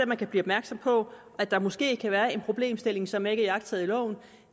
man kan blive opmærksom på at der måske kan være en problemstilling som ikke er iagttaget i loven